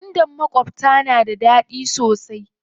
Gwandan makwabta da daɗi sosai.